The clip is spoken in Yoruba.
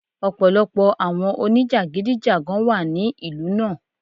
Ọ̀pọ̀lọpọ̀ àwọn oníjàgídíjàgan wà ní ìlú náà.